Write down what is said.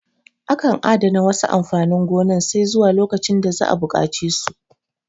Akan adana wasu amfanin gonan sai zuwa lokacin da za'a buƙace su